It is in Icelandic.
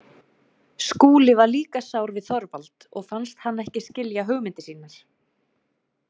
Skúli var líka sár við Þorvald og fannst hann ekki skilja hugmyndir sínar.